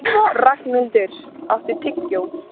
Ragnhildur, áttu tyggjó?